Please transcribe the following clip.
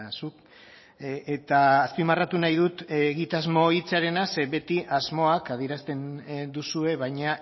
zuk eta azpimarratu nahi dut egitasmo hitzarena ze beti asmoak adierazten duzue baina